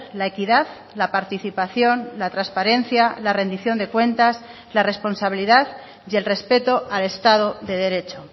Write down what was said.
la equidad la participación la transparencia la rendición de cuentas la responsabilidad y el respeto al estado de derecho